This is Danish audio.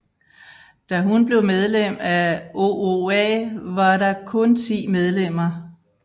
Da hun blev medlem af OOA var der kun 10 medlemmer